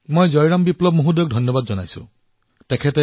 মই জয়ৰাম বিপ্লৱজীকো ধন্যবাদ জনাবলৈ বিচাৰিছো